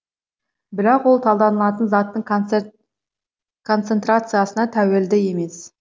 бірақ ол талданылатын заттың концентрациясына тәуелді емес